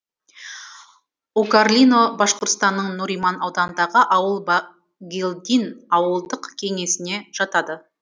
укарлино башқұртстанның нуриман ауданындағы ауыл байгильдин ауылдық кеңесіне жатады